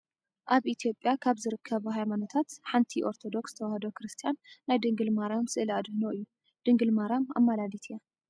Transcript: ኣብ ኢትዮጵያ ካብ ዝርከባ ሃይማኖታት ሓንቲ ኦርቶዶክስ ተዋህዶ ክርስትያን ናይ ድንግል ማርያም ስእለ ኣድህኖ እዩ ። ድንግል ማርያም ኣማላዲት እያ ።